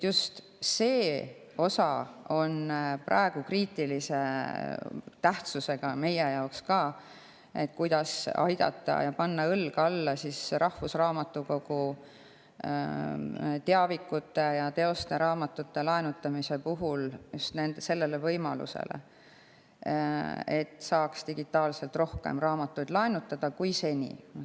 See osa on praegu kriitilise tähtsusega ka meie jaoks, et kuidas siin aidata ja panna rahvusraamatukogu teavikute laenutamise puhul õlg alla just sellele võimalusele, et saaks rohkem kui seni laenutada digitaalselt.